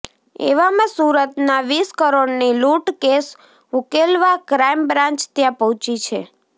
એવામાં સુરતના વીસ કરોડની લૂંટ કેસ ઉકેલવા ક્રાઇમ બ્રાન્ચ ત્યાં પહોંચી છે